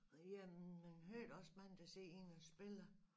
Jamen man hører da også mange der sidder inde og spilelr